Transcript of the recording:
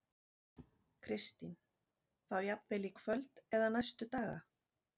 Kristín: Þá jafnvel í kvöld eða næstu daga?